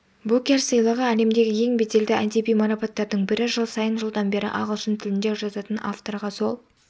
букерсыйлығы әлемдегі ең беделді әдеби марапаттардың бірі жыл сайын жылдан бері ағылшын тілінде жазатын авторға сол